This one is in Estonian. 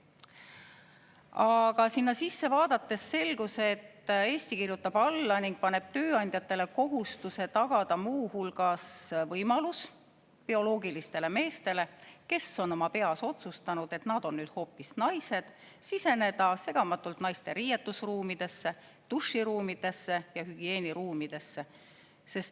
Aga sinna sisse vaadates selgus, et Eesti kirjutab alla paneb tööandjatele kohustuse tagada muu hulgas võimalus bioloogilistele meestele, kes on oma peas otsustanud, et nad on hoopis naised, siseneda segamatult naiste riietusruumidesse, duširuumidesse ja hügieeniruumidesse.